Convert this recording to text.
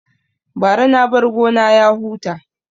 Bara na bar gona ya huta